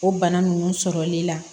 O bana ninnu sɔrɔli la